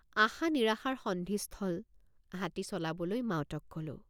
আশানিৰাশাৰ সন্ধিস্থল হাতী চলাবলৈ মাউতক কলোঁ।